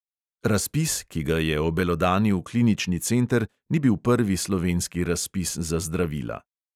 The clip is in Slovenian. Razpis, ki ga je obelodanil klinični center, ni bil prvi slovenski razpis za zdravila.